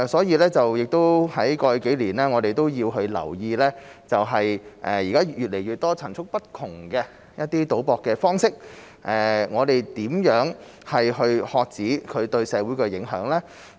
過去數年，我們留意到越來越多層出不窮的賭博方式，我們應如何遏止其對社會造成的影響呢？